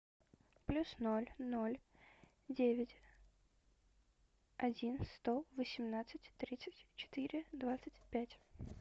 плюс ноль ноль девять один сто восемнадцать тридцать четыре двадцать пять